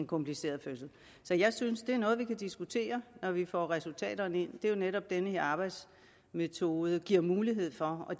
kompliceret fødsel så jeg synes det er noget vi kan diskutere når vi får resultaterne ind det er jo netop det den her arbejdsmetode bliver mulighed for og